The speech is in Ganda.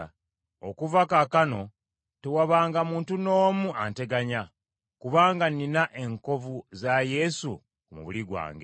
Okuva kaakano tewabanga muntu n’omu anteganya, kubanga nnina enkovu za Yesu ku mubiri gwange.